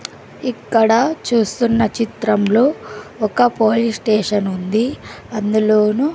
ఇక్కడ చూస్తున్న చిత్రంలో ఒక పోలీస్ స్టేషన్ ఉంది అందులోను--